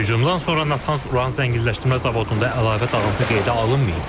Hücumdan sonra Natanz Uran zənginləşdirmə zavodunda əlavə dağıntı qeydə alınmayıb.